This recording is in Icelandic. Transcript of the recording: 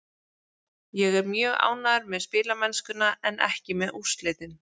Ég er mjög ánægður með spilamennskuna en ekki með úrslitin.